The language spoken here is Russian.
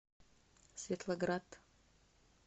светлоград